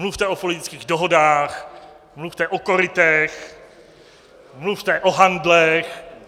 Mluvte o politických dohodách, mluvte o korytech, mluvte o handlech.